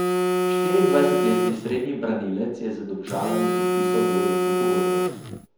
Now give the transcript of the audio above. Štiriindvajsetletni srednji branilec je z Domžalami podpisal dvoletno pogodbo.